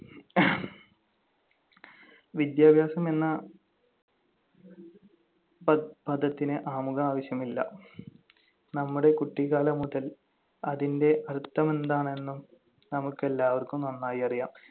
വിദ്യാഭ്യാസം എന്ന പദത്തിന് ആമുഖം ആവശ്യമില്ല. നമ്മുടെ കുട്ടിക്കാലം മുതൽ അതിന്‍റെ അർത്ഥമെന്താണെന്ന് നമുക്കെല്ലാവർക്കും നന്നായി അറിയാം.